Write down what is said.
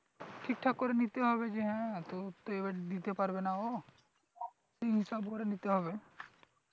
ঠিকঠাক করে নিতে হবে যে হ্যাঁ তোর তো এবার দিতে পারবে না ও হিসেব করে নিতে হবে